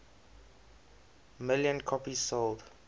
million copies sold